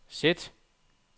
sæt